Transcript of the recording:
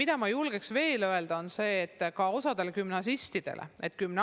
Ja ma julgen veel öelda, et ka osale gümnasistidele see meeldib.